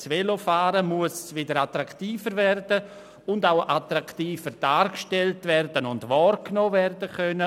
Das Velofahren muss wieder attraktiver werden, auch attraktiver dargestellt und wahrgenommen werden können.